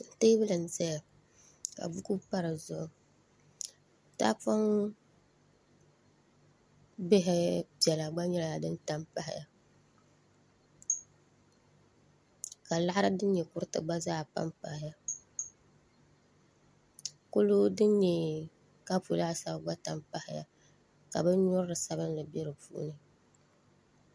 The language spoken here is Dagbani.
Teebuli n ʒɛya ka buku pa di zuɣu tahapoŋ bihi piɛla gba nyɛla din tam pahaya ka laɣari din nyɛ kuriti gba tam pahaya kurigu din nyɛ kapu laasabu gba tam pahaya ka binyurili sabinli bɛ di puuni